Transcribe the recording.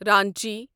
Ranchi